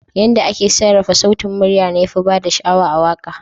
Yadda ake sarrafa sautin murya ne yafi bada sha'awa a waka.